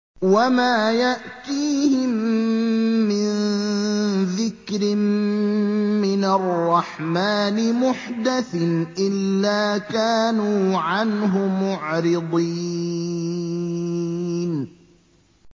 وَمَا يَأْتِيهِم مِّن ذِكْرٍ مِّنَ الرَّحْمَٰنِ مُحْدَثٍ إِلَّا كَانُوا عَنْهُ مُعْرِضِينَ